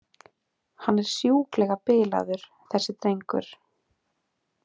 Hann er sjúklega bilaður þessi drengur.